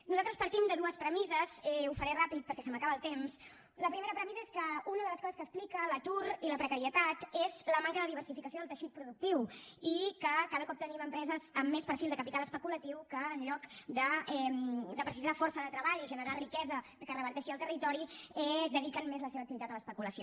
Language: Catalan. nosaltres partim de dues premisses ho faré ràpid perquè se m’acaba el temps la primera premissa és que una de les coses que explica l’atur i la precarietat és la manca de diversificació del teixit productiu i que cada cop tenim empreses amb més perfil de capital especulatiu que en lloc de necessitar força de treball i generar riquesa que reverteixi al territori dediquen més la seva activitat a l’especulació